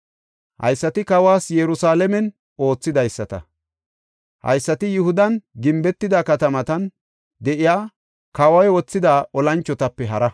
Haysati kawas Yerusalaamen oothidaysata; haysati Yihudan gimbetida katamatan de7iya kawoy wothida olanchotape haraa.